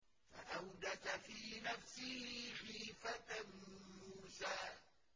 فَأَوْجَسَ فِي نَفْسِهِ خِيفَةً مُّوسَىٰ